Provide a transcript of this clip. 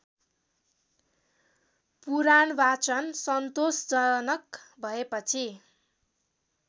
पुराणवाचन सन्तोषजनक भएपछि